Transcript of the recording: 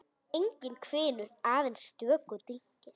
Enginn hvinur, aðeins stöku dynkir.